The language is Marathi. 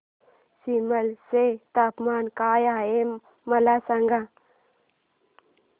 सिमला चे तापमान काय आहे मला सांगा